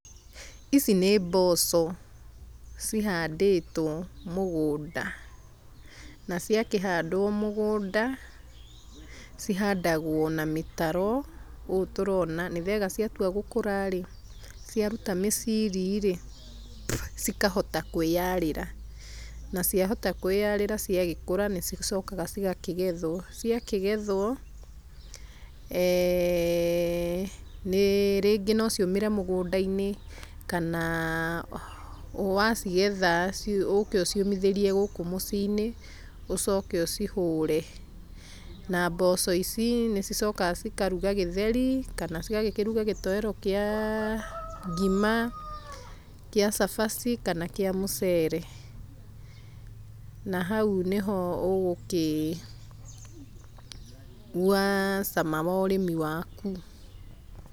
Ici nĩ mboco, cihandĩtũo mũgũnda, na ciakĩhandũo mũgũnda, cihandagũo na mĩtaro, ũũ tũrona nĩgetha ciatua gũkũra rĩ, ciaruta mĩciiri rĩ, cikahota kũĩarĩra. Na ciahota kũĩarĩra ciagĩkũra nĩ cicokaga cigakĩgethwo. Rĩngĩ no ciũmĩre mũgũndainĩ kana wacigetha ũke ũciũmithĩrie gũkũ mũciinĩ, ũcoke ũcihũre. Na mboco ici nĩ cicokaga cikaruga gĩtheri, kana cigagĩkĩruga gĩtoero kĩa ngima, kĩa cabaci, kana kĩa mũceere. Na hau nĩho ũgũkĩigua cama wa ũrĩmi waku.